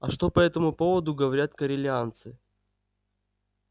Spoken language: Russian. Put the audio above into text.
а что по этому поводу говорят корелианцы